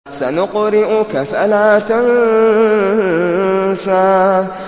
سَنُقْرِئُكَ فَلَا تَنسَىٰ